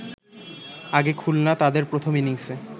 আগে খুলনা তাদের প্রথম ইনিংসে